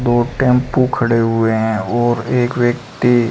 दो टेंपू खड़े हुए हैं और एक व्यक्ति--